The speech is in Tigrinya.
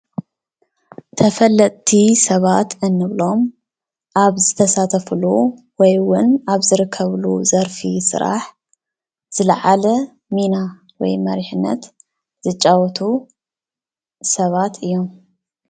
ተፈለጥቲ ሰባት እንብሎም ኣብ ዝተሳተፍሉ ወይ እዉን ኣብ ዝርከብሉ ዘርፊ ስራሕ ዝለዓለ ሚና ወይ መሪሕነት ዝጫወቱ ሰባት እዮም ።